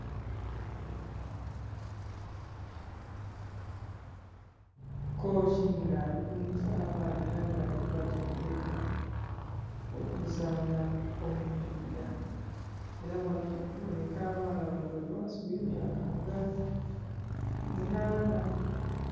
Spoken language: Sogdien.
Kooki nga ali kulumusa abaana era nga ali kubatendeka okuzaana omupiira, era bano kiboneka abaana bano bali ghansi w'emyaka nga munaana.